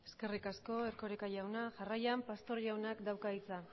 eskerrik asko erkoreka jauna jarraian pastor jaunak dauka hitza